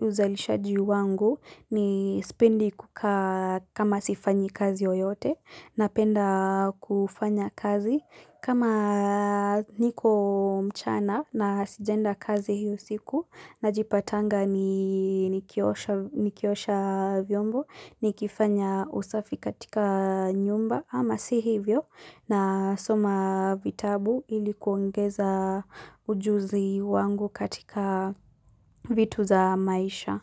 uzalishaji wangu ni sipendi kukaa kama sifanyi kazi yoyote napenda kufanya kazi. Kama niko mchana na sijaenda kazi hiyo siku najipatanga ni nikiosha nikiosha vyombo nikifanya usafi katika nyumba ama si hivyo nasoma vitabu ili kuongeza ujuzi wangu katika vitu za maisha.